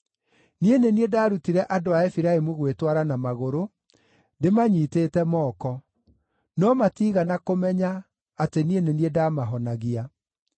Niĩ nĩ niĩ ndaarutire andũ a Efiraimu gwĩtwara na magũrũ, ndĩmanyiitĩte moko; no matiigana kũmenya atĩ nĩ niĩ ndamahonagia.